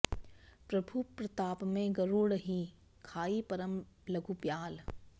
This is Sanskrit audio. प्रभु प्रताप तें गरुड़हि खाइ परम लघु ब्याल